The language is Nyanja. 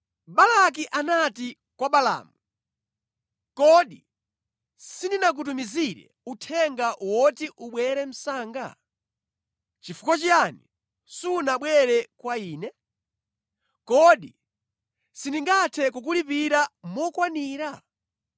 Balaki anati kwa Balaamu, “Kodi sindinakutumizire uthenga woti ubwere msanga? Chifukwa chiyani sunabwere kwa ine? Kodi sindingathe kukulipira mokwanira?”